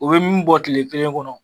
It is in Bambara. U bɛ min bɔ tile kelen kɔnɔ